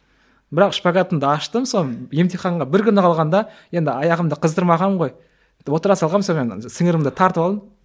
бірақ шпагатымды аштым соны емтиханға бір күні қалғанда енді аяғымды қыздырмағанмын ғой отыра салғанмын сонымен сіңірімді тартып алдым